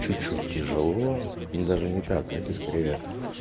чуть чуть тяжело но даже не так скорее